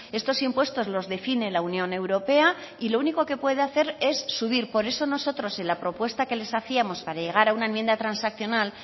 estos impuestos los define la unión europea y lo único que puede hacer es subir por eso nosotros en la propuesta que les hacíamos para llegar a una enmienda transaccional